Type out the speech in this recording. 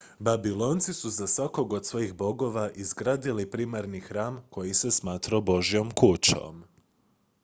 babilonci su za svakog od svojih bogova izgradili primarni hram koji se smatrao božjom kućom